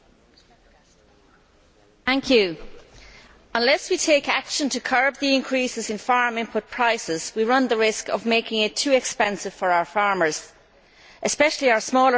Mr President, unless we take action to curb the increases in farm input prices, we run the risk of making it too expensive for our farmers especially our smaller farmers to operate.